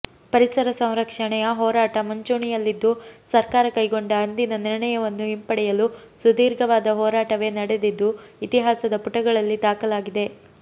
ಪರಿಸರ ಸಂರಕ್ಷಣೆಯೆ ಹೋರಾಟ ಮುಂಚೂಣಿಯಲ್ಲಿದ್ದು ಸರ್ಕಾರ ಕೈಗೊಂಡ ಅಂದಿನ ನಿರ್ಣಯವನ್ನು ಹಿಂಪಡೆಯಲು ಸುದೀರ್ಘವಾದ ಹೋರಾಟವೇ ನಡೆದಿದ್ದು ಇತಿಹಾಸದ ಪುಟಗಳಲ್ಲಿ ದಾಖಲಾಗಿದೆ